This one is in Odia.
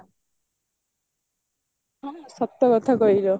ହଁ ସତ ସଠ କହିଲ